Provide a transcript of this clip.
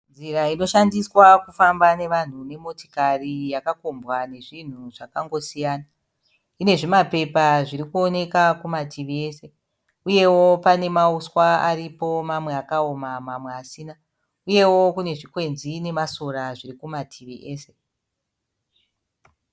Nzira inoshandiswa kufamba nevanhu nemotikari yakakombwa nezvinhu zvakangosiyana. Ine zvimapepa zviri kuoneka kumativi ese. Uyewo pane mauswa aripo mamwe akaoma mamwe asina. Uyewo kune zvikwenzi nemasora zviri kumativi ese.